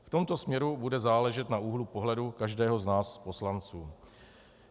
V tomto směru bude záležet na úhlu pohledu každého z nás poslanců.